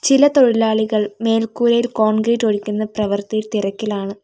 ഇതിലെ തൊഴിലാളികൾ മേൽക്കൂരയിൽ കോൺഗ്രീറ്റ് ഒഴിക്കുന്ന പ്രവർത്തിയിൽ തിരക്കിലാണ്.